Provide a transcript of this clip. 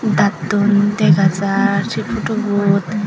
dattun dega jaar sey photobot.